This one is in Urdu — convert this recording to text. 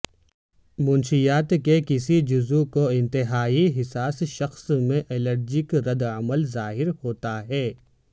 منشیات کے کسی جزو کو انتہائی حساس شخص میں الرجک رد عمل ظاہر ہوتا ہے